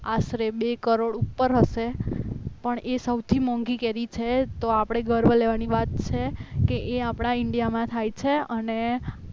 આશરે બે કરોડ ઉપર હશે પણ એ સૌથી મોંઘી કેરી છે તો આપણે ગર્વ લેવાની વાત છે કે આપણા ઇન્ડિયામાં થાય છે અને